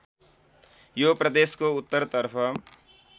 यो प्रदेशको उत्तरतर्फ